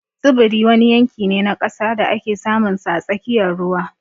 Tsibiri wani yanki ne na ƙasa da ake samunsa a tsakiyar ruwa